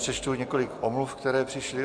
Přečtu několik omluv, které přišly.